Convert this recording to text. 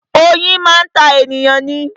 Oyin máa ń ta ènìyàn ni